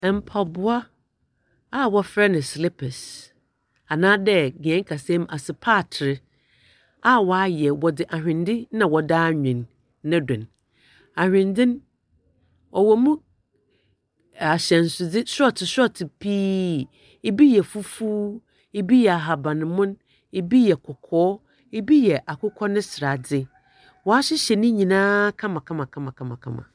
Mpaboa a wɔfrɛ no slipers anaadɛ hen kasa mu, asopaater a wɔayɛ. Wɔdze ahwendze na wɔde awen ne do no. Ahwendze no, ɔwɔ mu sɔɔto sɔɔto pii, ibi yɛ fufuw, ibi yɛ ahabanmon, ibi yɛ kɔkɔɔɔ, ibi yɛ akokɔ ne sradze. Wɔahyehyɛ ne nyinaa kamakama.